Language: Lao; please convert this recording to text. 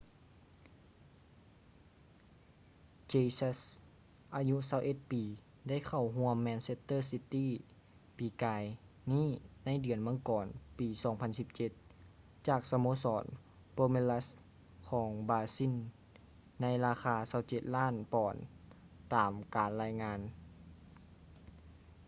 jesus ອາຍຸ 21 ປີໄດ້ເຂົ້າຮ່ວມ manchester city ປີກາຍນີ້ໃນເດືອນມັງກອນ ປີ 2017 ຈາກສະໂມສອນ palmeiras ຂອງບຣາຊິນໃນລາຄາ 27 ລ້ານປອນຕາມການລາຍງານ